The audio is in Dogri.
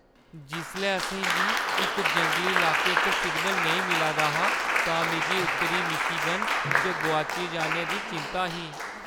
जिसलै असें गी इक जंगली इलाके च सिग्नल नेईं मिला दा हा तां मिगी उत्तरी मिशीगन च गोआची जाने दी चिंता ही।